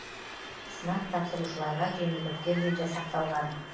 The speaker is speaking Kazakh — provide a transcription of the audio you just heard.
сынақ тапсырушыларға жеңілдіктер де жасақталған